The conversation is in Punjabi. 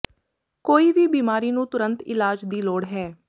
ਕੋਈ ਵੀ ਬਿਮਾਰੀ ਨੂੰ ਤੁਰੰਤ ਇਲਾਜ ਦੀ ਲੋੜ ਹੈ